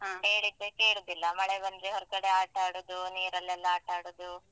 ಅಹ್ ಹೇಳಿದ್ದೆ ಕೇಳುದಿಲ್ಲ. ಮಳೆ ಬಂದ್ರೆ ಹೊರ್ಗಡೆ ಆಟ ಆಡುದು, ನೀರಲೆಲ್ಲಾ ಆಟ ಆಡುದು.